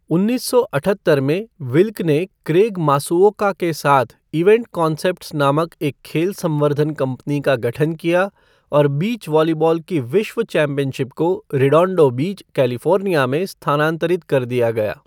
उन्नीस सौ अठहत्तर में, विल्क ने क्रेग मासुओका के साथ इवेंट कॉन्सेप्ट्स नामक एक खेल संवर्धन कंपनी का गठन किया और बीच वॉलीबॉल की विश्व चैम्पियनशिप को रेडोंडो बीच, कैलिफ़ोर्निया में स्थानांतरित कर दिया गया।